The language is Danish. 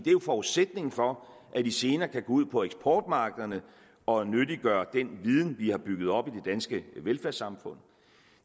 er jo forudsætningen for at de senere kan gå ud på eksportmarkederne og nyttiggøre den viden vi har bygget op i danske velfærdssamfund